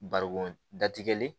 Barikon datigɛlen